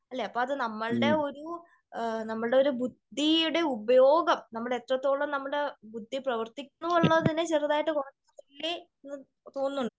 അല്ലേ അപ്പോ നമ്മളുടെ ഒരു നമ്മളുടെ ഒരു ബുദ്ധിയുടെ ഉപയോഗം നമ്മൾ എത്രത്തോളം നമ്മളുടെ ബുദ്ധി പ്രവർത്തിക്കുന്നു എന്നതിന് ചെറുതായിട്ട് തോന്നുന്നു.